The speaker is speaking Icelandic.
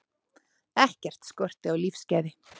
Ekkert skorti á lífsgæði.